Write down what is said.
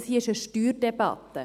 Das hier ist eine Steuerdebatte.